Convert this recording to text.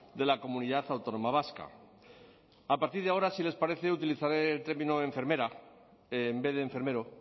de la comunidad autónoma vasca a partir de ahora si les parece utilizaré el término enfermera en vez de enfermero